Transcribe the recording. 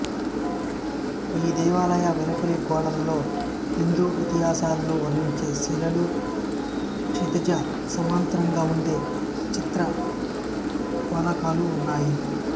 ఈ దేవాలయాల వెలుపలి గోడలలో హిందూ ఇతిహాసాలను వర్ణించే శిల్పాలు క్షితిజ సమాంతరంగా ఉండే చిత్రఫలకాలూ ఉన్నాయి